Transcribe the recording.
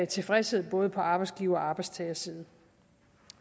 tilfredshed både på arbejdsgiver og på arbejdstager side